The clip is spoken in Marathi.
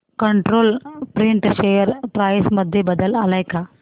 कंट्रोल प्रिंट शेअर प्राइस मध्ये बदल आलाय का